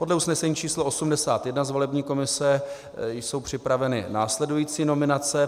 Podle usnesení číslo 81 z volební komise jsou připraveny následující nominace.